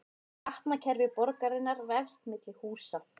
Gatnakerfi borgarinnar vefst milli húsa